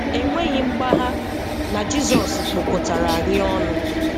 E nweghị mgbagha na Jizọs kpokotara anyị ọnụ